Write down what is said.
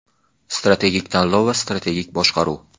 Strategik tanlov va strategik boshqaruv.